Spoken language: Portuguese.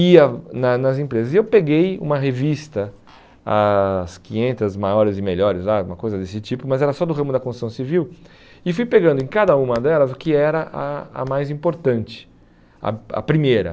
Ia na nas empresas e eu peguei uma revista, as quinhentas maiores e melhores lá, uma coisa desse tipo, mas era só do ramo da construção civil, e fui pegando em cada uma delas o que era a a mais importante, a a primeira.